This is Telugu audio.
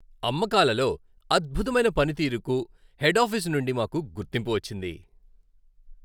అమ్మకాలలో అద్భుతమైన పనితీరుకు హెడ్ ఆఫీసు నుండి మాకు గుర్తింపు వచ్చింది.